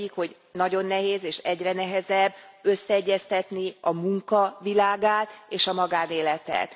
Az egyik, hogy nagyon nehéz, és egyre nehezebb összeegyeztetni a munka világát és a magánéletet.